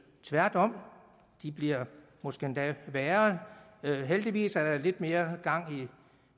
tværtom de bliver måske endda værre heldigvis er der lidt mere gang i